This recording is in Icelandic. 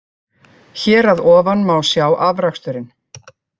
Hér að ofan má sjá afraksturinn.